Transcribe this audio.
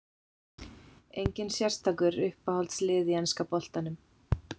Enginn sérstakur Uppáhalds lið í enska boltanum?